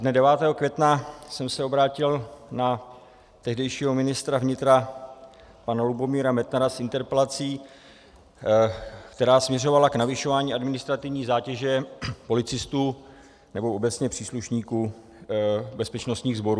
Dne 9. května jsem se obrátil na tehdejšího ministra vnitra pana Lubomíra Metnara s interpelací, která směřovala k navyšování administrativní zátěže policistů, nebo obecně příslušníků bezpečnostních sborů.